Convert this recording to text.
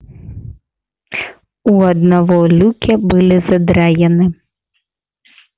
у одного люки были задраены